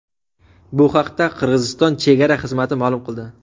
Bu haqda Qirg‘iziston chegara xizmati ma’lum qildi .